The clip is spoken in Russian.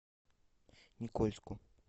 никольску